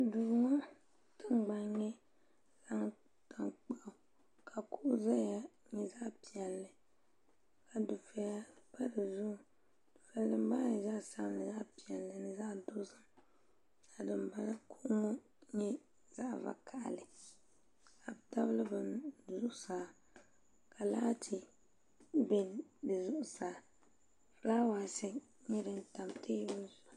Duu ŋɔ tiŋgbani ni tankpaɣu ka kuɣa zaya nyɛ zaɣ' piɛlli ka dufɛya pa di zuɣu dufɛya maa zaa nyɛla zaɣ' piɛlli ni zaɣ' dozim ka dimbala ŋɔ nyɛ zaɣ' vakahili ka bɛ tabili bini zuɣusaa ka laati be di zuɣusaa fulaawaasi nyɛ din tam teebuli zuɣu